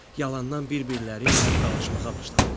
Yalandan bir-birləri ilə dalaşmağa başladılar.